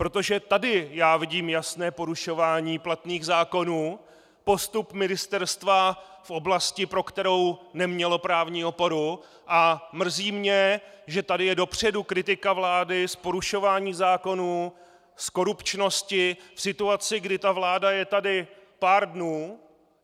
Protože tady já vidím jasné porušování platných zákonů, postup ministerstva v oblasti, pro kterou nemělo právní oporu, a mrzí mě, že tady je dopředu kritika vlády z porušování zákonů, z korupčnosti, v situaci, kdy ta vláda je tady pár dnů.